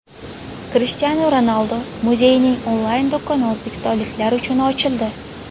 Krishtianu Ronaldu muzeyining onlayn-do‘koni o‘zbekistonliklar uchun ochildi.